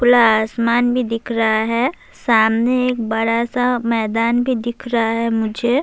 پورا آسمان بھی دکھ رہا ہے، سامنے ایک بڑا سا میدان بھی دکھ رہا ہے مجھے-